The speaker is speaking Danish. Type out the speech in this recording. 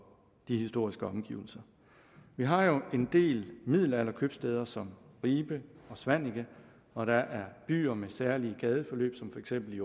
de historiske omgivelser vi har jo en del middelalderkøbstæder som ribe og svaneke og der er byer med særlige gadeforløb som for eksempel i